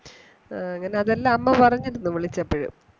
ആ അങ്ങനെ അതെല്ലാം അമ്മ പറഞ്ഞിരുന്നു വിളിച്ചപ്പോഴും